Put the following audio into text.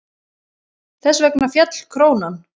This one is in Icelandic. Þess vegna féll krónan.